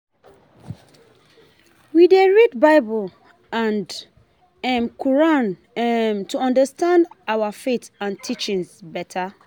We dey read Bible and um Quran um to understand our faith and teachings beta.